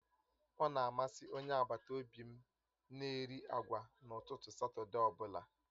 Ọ̀ na amasị Onye agbata obi m na-eri agwa n'ụtụtụ Satọde ọ bụla